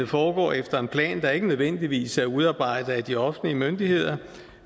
foregår efter en plan der ikke nødvendigvis er udarbejdet af de offentlige myndigheder